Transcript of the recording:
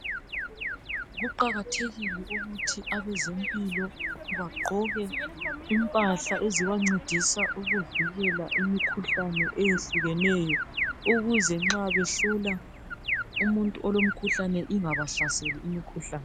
Kuqakathekile ukuthi abezempilo bagqoke impahla ezibancedisa ukuvikela imikhuhlane eyehlukeneyo ukuze nxa behlola umuntu olomkhuhlane ingabahlaseli imikhuhlane.